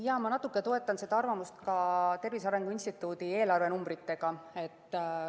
Jaa, ma natuke toetan seda arvamust ka Tervise Arengu Instituudi eelarvenumbritega.